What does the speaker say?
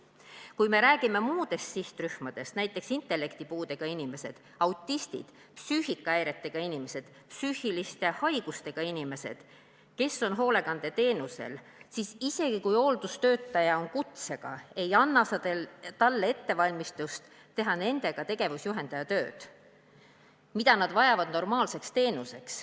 Kui me räägime muudest sihtrühmadest, näiteks intellektipuudega inimesed, autistid, psüühikahäiretega inimesed, psüühiliste haigustega inimesed, kes on hoolekandeteenusel, siis isegi kui hooldustöötaja on kutsega, ei ole tal ettevalmistust teha nendega tegevusjuhendaja tööd, mida nad vajavad normaalse teenuse saamiseks.